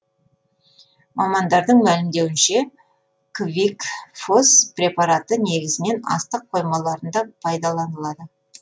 мамандардың мәлімдеуінше квикфос препараты негізінен астық қоймаларында пайдаланылады